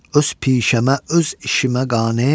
Öz pişəmə, öz işimə qane.